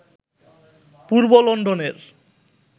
পূর্ব লন্ডনের